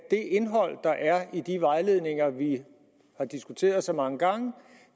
i de vejledninger vi har diskuteret så mange gange